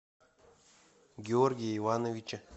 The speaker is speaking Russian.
георгия ивановича